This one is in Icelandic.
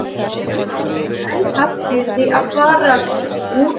Hún hafði ekki enn haft fyrir því að fara úr kápunni.